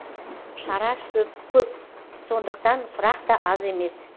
шара көп сондықтан сұрақ та аз емес